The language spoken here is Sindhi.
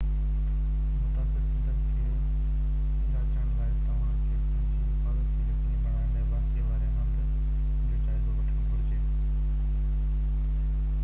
متاثر ٿيندڙ کي جانچڻ لاءِ توهان کي پنهنجي حفاظت کي يقيني بڻائڻ لاءِ واقعي واري هنڌ جو جائزو وٺڻ گهرجي